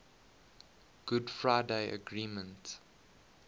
good friday agreement